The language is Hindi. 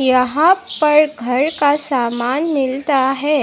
यहां पर घर का सामान मिलता है